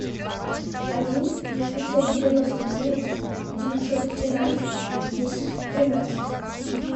один пятьсот девяносто девять девятьсот тринадцать десять тринадцать